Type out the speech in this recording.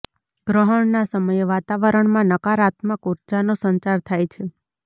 ગ્રહણના સમયે વાતાવરણમાં નકારાત્મક ઉર્જાનો સંચાર થાય છે